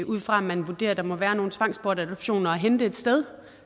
ud fra at man vurderer at der må være nogle tvangsbortadoptioner at hente et sted